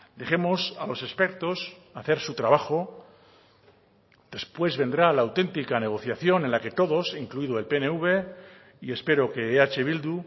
dejemos a los expertos hacer su trabajo después vendrá la auténtica negociación en la que todos incluido el pnv y espero que eh bildu